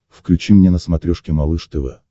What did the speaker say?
включи мне на смотрешке малыш тв